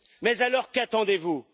Mais alors qu'attendez vous?